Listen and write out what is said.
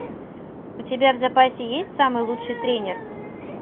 у тебя в запасе есть самый лучший тренер